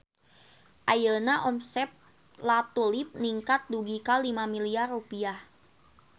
Ayeuna omset La Tulip ningkat dugi ka 5 miliar rupiah